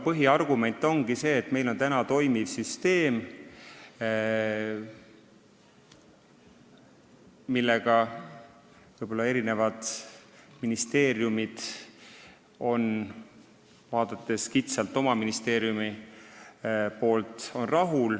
Põhiargument ongi võib-olla see, et meil on praegu toimiv süsteem, millega ministeeriumid on rahul, vaadates seda kitsalt oma ministeeriumi poolt.